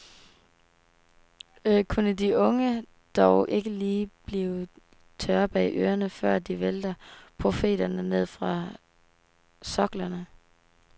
Kunne de unge dog ikke lige blive tørre bag ørerne, før de vælter profeterne ned fra soklerne.